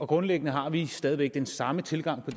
grundlæggende har vi stadig væk den samme tilgang på